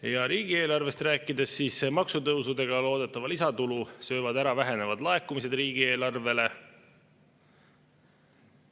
Ja kui riigieelarvest rääkida, siis maksutõusudega loodetava lisatulu söövad ära vähenevad laekumised riigieelarvele.